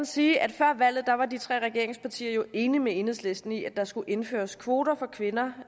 sige at før valget var de tre regeringspartier jo enige med enhedslisten i at der skulle indføres kvoter for kvinder